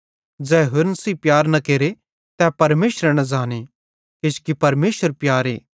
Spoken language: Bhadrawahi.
ज़ै होरन सेइं प्यार न केरे तै परमेशरे न ज़ाने किजोकि परमेशर प्यारे